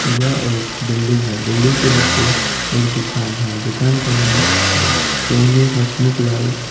यह एक बिल्डिंग है बिल्डिंग के नीचे एक दुकान है दुकान का नाम सोनी हसमुखलाल --